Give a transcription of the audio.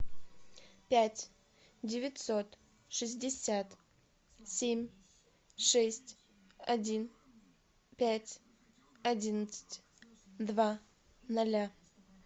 пять девятьсот шестьдесят семь шесть один пять одиннадцать два ноля